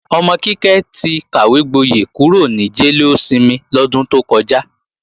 Ọmọ Kíkẹ́ ti kàwégboyẹ̀ kúrò ní jẹ́lósinmi lọ́dún tó kọjá.